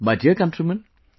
My dear countrymen,